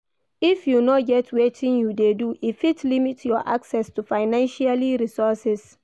If you no get wetin you de do e fit limit your access to financialy resources